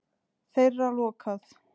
Þeirra lokað.